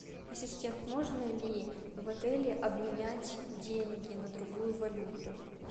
ассистент можно ли в отеле обменять деньги на другую валюту